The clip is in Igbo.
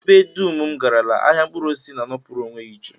Ebe dum m garala, ahịa mkpụrụosisi na-anọpụrụ onwe ya iche